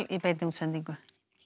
í beinni útsendingu